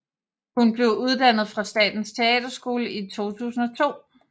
Hun blev uddannet fra Statens Teaterskole i 2002